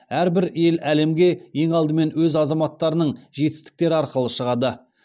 әрбір ел әлемге ең алдымен өз азаматтарының жетістіктері арқылы шығады